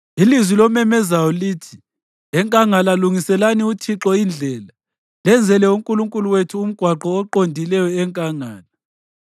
Ilizwi lomemezayo lithi: “Enkangala lungiselani uThixo indlela, lenzele uNkulunkulu wethu umgwaqo oqondileyo enkangala.